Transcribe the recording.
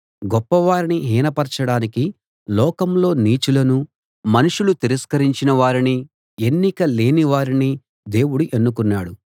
గొప్పవారిని హీనపరచడానికి లోకంలో నీచులనూ మనుషులు తిరస్కరించిన వారిని ఎన్నిక లేని వారిని దేవుడు ఎన్నుకున్నాడు